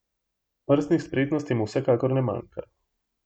Prstnih spretnosti mu vsekakor ne manjka.